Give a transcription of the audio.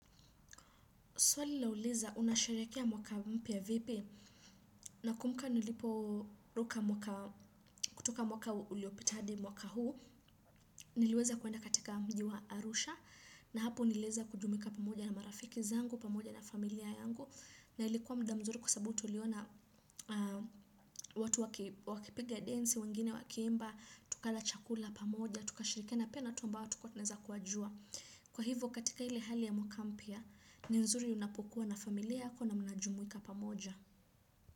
Swali lauliza unasherehekea mwaka mpya vipi. Nakumbuka niliporuka kutoka mwaka uliopita hadi mwaka huu niliweza kwenda katika mji wa Arusha na hapo niliweza kujumuika pamoja na marafiki wangu, pamoja na familia yangu na ilikuwa muda mzuri sababu tuliona watu wakipiga densi, wengine wakiimba, tukala chakula pamoja, tukashirikiana pia na watu ombao hatukuwa tunaweza kuwajua. Kwa hivyo katika ile hali ya mwaka mpya, ni nzuri unapokuwa na familia yako na mnajumuika pamoja.